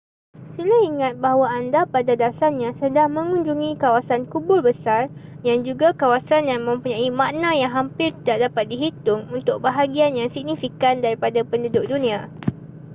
sila ingat bahawa anda pada dasarnya sedang mengunjungi kawasan kubur besar yang juga kawasan yang mempunyai makna yang hampir tidak dapat dihitung untuk bahagian yang signifikan daripada penduduk dunia